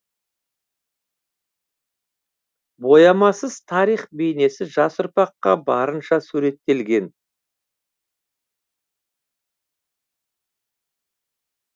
боямасыз тарих бейнесі жас ұрпаққа барынша суреттелген